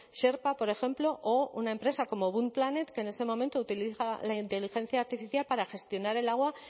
sherpa por ejemplo o una empresa como bunt planet que en este momento utiliza la inteligencia artificial para gestionar el agua